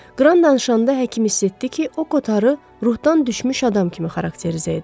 Qran danışanda həkim hiss etdi ki, o Kotarı ruhdan düşmüş adam kimi xarakterizə edir.